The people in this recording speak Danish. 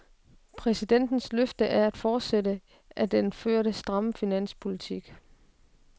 Præsidentens løfte er en fortsættelse af den førte, stramme finanspolitik.